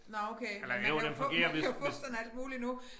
Nåh okay men man kan jo fuppe man kan jo fuppe sådan alt muligt nu